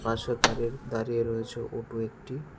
পাশে দাঁড়িয়ে দাঁড়িয়ে রয়েছে ওটো একটি।